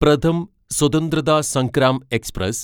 Pratham Swatantrata Sangram express